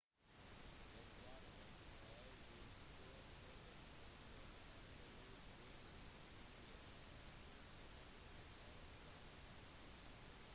det var et av de store stoppene under henry louis gates' pbs-spesial wonders of the african world